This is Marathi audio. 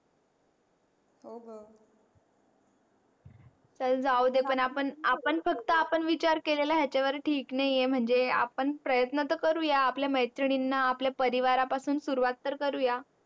हो ग चल जाऊदे पण आपण आपण फक्त आपण विचार केला याचा वर हे ठीक नाही आहे म्हणजे आपण प्रयत्न तर करूया आपल्या मैत्रीणा आपल्या परिवारा पासून सुरवात तर करूया